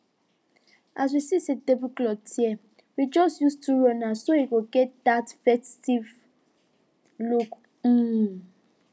as we see say the tablecloth tear we just use two runners so e go get that festive look um